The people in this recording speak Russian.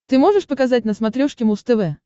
ты можешь показать на смотрешке муз тв